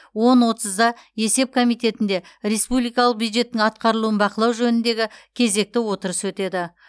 он отызда есеп комитетінде республикалық бюджеттің атқарылуын бақылау жөніндегі кезекті отырыс өтеді